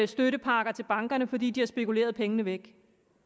støttepakker til bankerne fordi de har spekuleret pengene væk